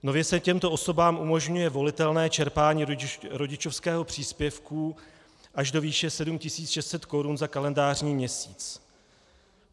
Nově se těmto osobám umožňuje volitelné čerpání rodičovského příspěvku až do výše 7 600 korun za kalendářní měsíc.